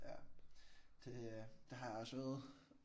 Ja. Det øh det har jeg også øvet